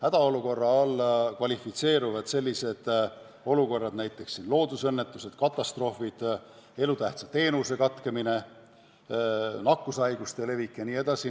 Hädaolukorra alla kvalifitseeruvad sellised olukorrad nagu näiteks loodusõnnetused, katastroofid, elutähtsa teenuse katkemine, nakkushaiguste levik jne.